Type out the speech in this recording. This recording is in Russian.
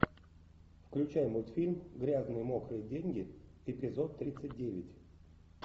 включай мультфильм грязные мокрые деньги эпизод тридцать девять